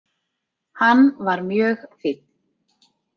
Hann var mjög fínn.